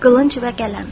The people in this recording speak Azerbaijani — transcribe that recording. Qılınc və qələm.